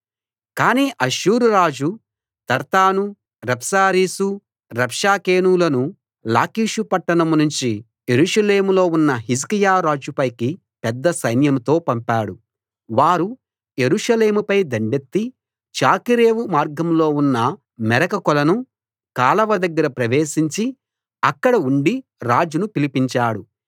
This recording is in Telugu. కాని అష్షూరు రాజు తర్తాను రబ్సారీసు రబ్షాకేనులను లాకీషు పట్టణం నుంచి యెరూషలేములో ఉన్న హిజ్కియా రాజుపైకి పెద్ద సైన్యంతో పంపాడు వారు యెరూషలేముపై దండెత్తి చాకిరేవు మార్గంలో ఉన్న మెరక కొలను కాలవ దగ్గర ప్రవేశించి అక్కడ ఉండి రాజును పిలిపించాడు